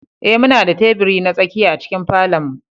Ee, muna da teburi na tsakiya a cikin falon mu.